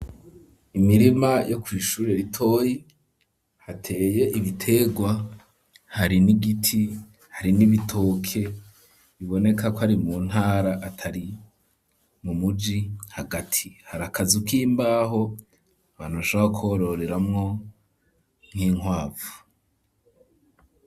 Imirima yo kw'ishure ritoyi hateye ibiterwa hari n'igiti hari n'ibitoke biboneka ko ari mu ntara atari mu muji hagati harakazu k'imbaho abantu bashobora kororeramwo nk'inkwavu.